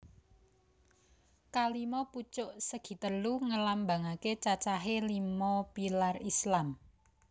Kalima pucuk segitelu ngelambangake cacahé lima pilar Islam